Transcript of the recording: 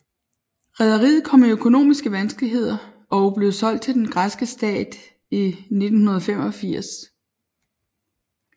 Rederiet kom i økonomiske vanskeligheder og blev solgt til den græske stat i 1985